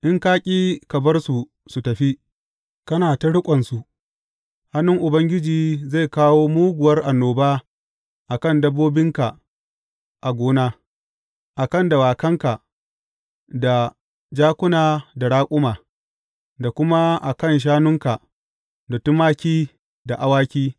In ka ƙi ka bar su su tafi, kana ta riƙonsu, hannun Ubangiji zai kawo muguwar annoba a kan dabbobinka a gona, a kan dawakanka, da jakuna da raƙuma, da kuma a kan shanunka da tumaki da awaki.